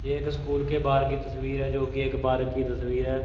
ये एक स्कूल के बाहर की तस्वीर है जो की एक बार की तस्वीर है।